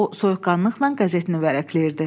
O soyuqqanlıqla qəzetini vərəqləyirdi.